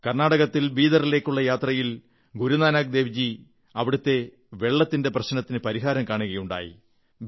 കർണാടകത്തിൽ ബീദറിലേക്കുള്ള യാത്രയിൽ ഗുരുനാനക് ദേവ്ജി അവിടത്തെ വെള്ളത്തിന്റെ പ്രശ്നത്തിനു പരിഹാരം കാണുകയുണ്ടായി